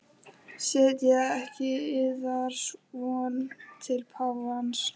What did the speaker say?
Setjið ekki yðar von til páfans.